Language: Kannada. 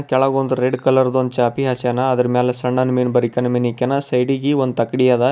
ಕೆಳಗೊಂದು ರೆಡ್ ಕಲರ ದ ಒಂದ್ ಚಾಪಿ ಹಾಸ್ಯನ ಆದ್ರು ಮೇಲೆ ಸಣ್ಣ ಮೀನು ಬರಿ ಕಣ್ ಮೀನು ಹಾಕ್ಯನ ಸೈಡ ಗೆ ಒಂದು ತಕಡಿ ಅದ.